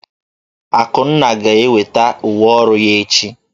Akunna ga-enweta uwe ọrụ ya echi.